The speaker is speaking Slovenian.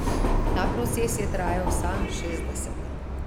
Ta proces je trajal vsa šestdeseta.